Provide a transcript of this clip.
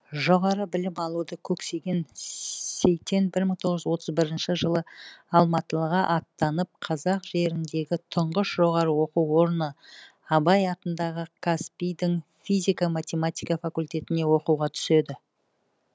жоғары білім алуды көксеген сейтен бір мың тоғыз жүз отыз бірінші жылы алматыға аттанып қазақ жеріндегі тұңғыш жоғары оқу орны абай атындағы қазпи дің физика математика факультетіне оқуға түседі